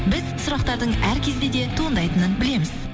біз сұрақтардың әр кезде де туындайтынын білеміз